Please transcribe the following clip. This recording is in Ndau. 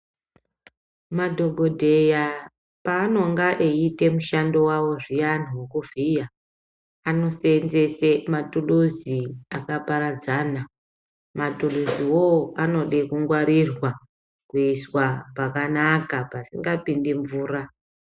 Madhokodheya paanonga eiite mushando wawo zviyani wekuvhiya, anosenzese mathuruzi akaparadzana. Mathuruziwo anode kungwarirwa kuiswa pakanaka pasikapindi mvura.